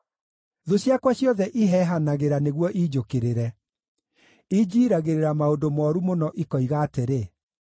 Thũ ciakwa ciothe iheehanagĩra nĩguo iinjũkĩrĩre; injiiragĩrĩra maũndũ mooru mũno, ikoiga atĩrĩ,